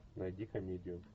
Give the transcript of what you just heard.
найди комедию